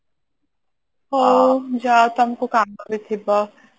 ହଉ ଯାଅ ତମେ କଉ କାମ ରେ ଯିବ